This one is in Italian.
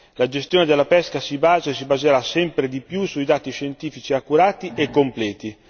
La gestione della pesca si basa e si baserà sempre di più su dati scientifici accurati e completi.